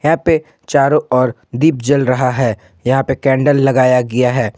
यहां पे चारों ओर दीप जल रहा है यहां पे केंडल लगाया गया है।